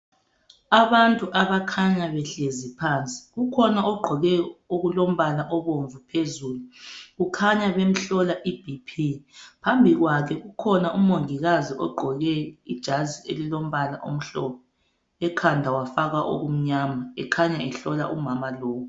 abantu abakhanya behlezi phansi ukhona ogqoke okulombala obomvu phezulu kukhanya bemhlola i BP phambi kwakhe kukhona umongikazi ogqoke ijazi elilombala omhlophe ekhanda wafaka okumnyama ekhayna ehlola umama lowu